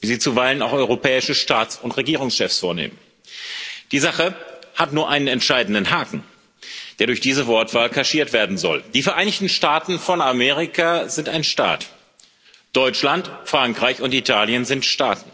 wie sie zuweilen auch europäische Staats und Regierungschefs vornehmen. Die Sache hat nur einen entscheidenden Haken, der durch diese Wortwahl kaschiert werden soll Die Vereinigten Staaten von Amerika sind ein Staat, Deutschland, Frankreich und Italien sind Staaten.